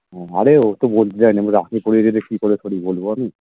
আরে ও তো বলতে চায়নি আমি রাখি পরিয়ে দিলে কি করে করি বলবো আমি